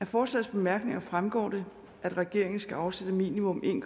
forslagets bemærkninger fremgår det at regeringen skal afsætte minimum en